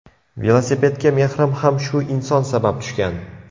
Velosipedga mehrim ham shu inson sabab tushgan.